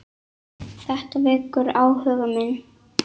Þetta vekur áhuga minn.